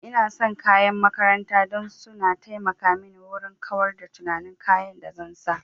Ina son kayan makaranta dan su na taimaka mini wurin kawar da tunanin kayan da zan sa